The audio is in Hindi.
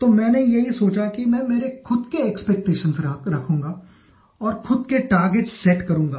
तो मैंने यही सोचा कि मैं मेरे खुद के एक्सपेक्टेशंस रखूँगा और खुद के टार्गेट्स सेट करूँगा